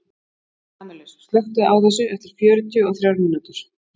Kamilus, slökktu á þessu eftir fjörutíu og þrjár mínútur.